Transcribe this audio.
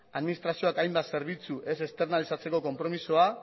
administrazioak hainbat zerbitzu ez esternalizatzeko konpromezua